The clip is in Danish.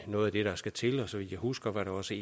noget af det der skal til og så vidt jeg husker var det også